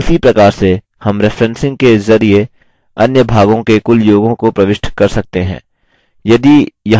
उसी प्रकार से हम referencing के ज़रिये अन्य भागों के कुल योगों को प्रविष्ट कर सकते हैं